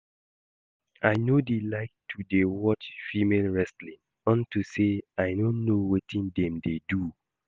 I no dey like to dey watch female wrestling unto say I no know wetin dem dey do